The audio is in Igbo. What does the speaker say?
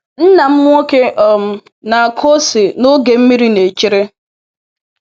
Nna m nwoke um na-akụ ose n’oge mmiri na-echere.